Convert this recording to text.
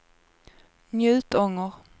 Njutånger